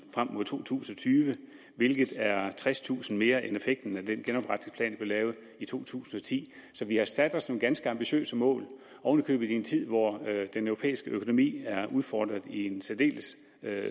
frem mod to tusind og tyve hvilket er tredstusind mere end effekten af den genopretningsplan vi lavede i to tusind og ti så vi har sat os nogle ganske ambitiøse mål oven i købet i en tid hvor den europæiske økonomi er udfordret i en særdeles